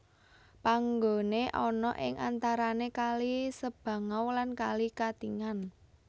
Panggone ana ing antarane kali Sebangau lan kali Katingan